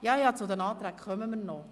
Ja, zu den Anträgen kommen wir noch.